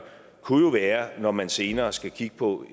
kunne jo være at se når man senere skal kigge på